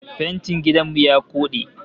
Fentin gidan mu ya koɗe